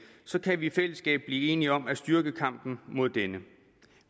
så kan vi i fællesskab blive enige om at styrke kampen mod denne